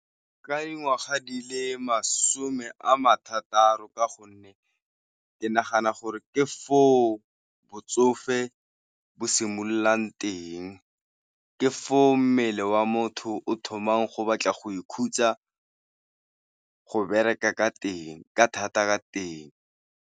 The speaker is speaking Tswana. Ka dingwaga di le masome a marataro ka gonne ke nagana gore ke foo botsofe bo simololang teng, ke foo mmele wa motho o thomang go batla go ikhutsa go bereka ka thata ka teng.